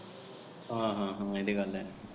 ਹਾਂ ਹਾਂ ਏਹ ਵੀ ਗੱਲ ਹੈ।